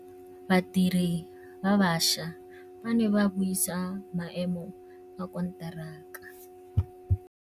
Badiri ba baša ba ne ba buisa maêmô a konteraka.